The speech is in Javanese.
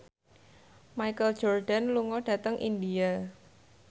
Michael Jordan lunga dhateng India